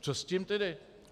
Co s tím tedy?